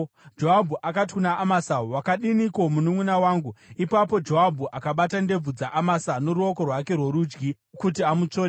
Joabhu akati kuna Amasa, “Wakadiniko, mununʼuna wangu?” Ipapo Joabhu akabata ndebvu dzaAmasa noruoko rwake rworudyi kuti amutsvode.